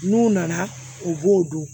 N'u nana u b'o dɔn